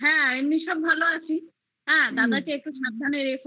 হ্যা এমনি সব ভালো আছি দাদাকে একটু সাবধানে রেখো আর